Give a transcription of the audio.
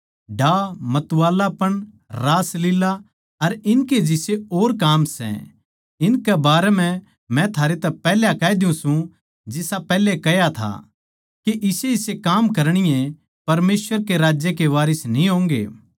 दाह मतवालापण रासलीला अर इनके जिसे और काम सै इनकै बारै म्ह मै थारै तै पैहल्या कह द्यु सू जिसा पैहल्या कह्या था के इसेइसे काम करणीये परमेसवर के राज्य के वारिस न्ही होंगे